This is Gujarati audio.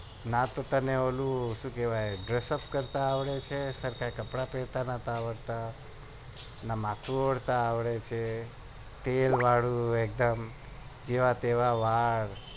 નાત ઉપર ઓંલું કરતા આવડે છે સરખા કપડા પેરતા નત આવડતા ન માથું ઓળવતા તેલ વાળું જેવા તેવા વાળ